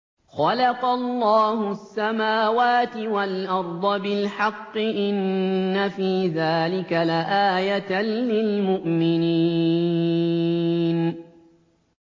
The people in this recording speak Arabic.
خَلَقَ اللَّهُ السَّمَاوَاتِ وَالْأَرْضَ بِالْحَقِّ ۚ إِنَّ فِي ذَٰلِكَ لَآيَةً لِّلْمُؤْمِنِينَ